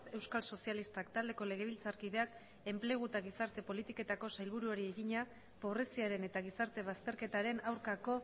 euskal sozialistak taldeko legebiltzarkideak enplegu eta gizarte politiketako sailburuari egina pobreziaren eta gizarte bazterketaren aurkako